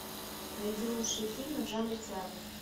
найди лучшие фильмы в жанре театр